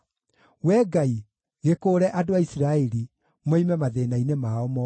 Wee Ngai, gĩkũũre andũ a Isiraeli, moime mathĩĩna-inĩ mao mothe!